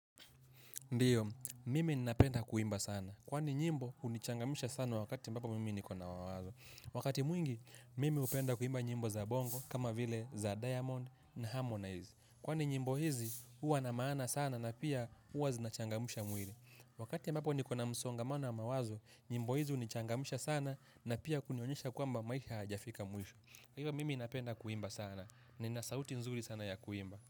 Ndio, mimi ninapenda kuimba sana. Kwani nyimbo, hunichangamsha sana wakati ambapo mimi nikona mawazo. Wakati mwingi, mimi hupenda kuimba nyimbo za bongo, kama vile za diamond na harmonize. Kwani nyimbo hizi, huwa na maana sana na pia huwa zinachangamsha mwili. Wakati ambapo nikona msongamano wa mawazo, nyimbo hizi hunichangamsha sana na pia kunionyesha kwamba maisha hajafika mwisho. Kwa hivyo mimi napenda kuimba sana. Nina sauti nzuri sana ya kuimba.